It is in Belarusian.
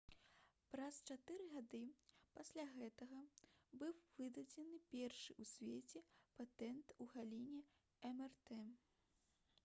праз чатыры гады пасля гэтага быў выдадзены першы ў свеце патэнт у галіне мрт